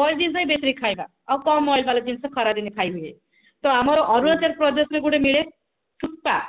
boil ଜିନିଷ ହିଁ ବେଶୀରେ ଖାଇବା ଆଉ କଣ oil ବାଲା ଜିନିଷ ଖରାଦିନେ ଖାଇହୁଏ ତ ଆମର ଅରୁଣାଚଳପ୍ରଦେଶ ରେ ଗୋଟେ ମିଳେ ସୂତା